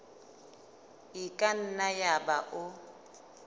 e ka nna yaba o